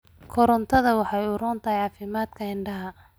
Karootada waxay u roon tahay caafimaadka indhaha.